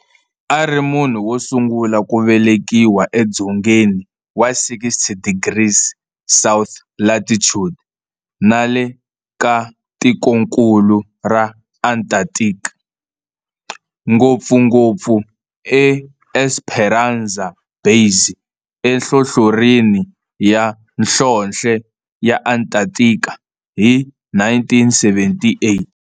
A ri munhu wosungula ku velekiwa edzongeni wa 60 degrees south latitude nale ka tikonkulu ra Antarctic, ngopfuNgopfu eEsperanza Base enhlohlorhini ya nhlonhle ya Antarctic hi 1978.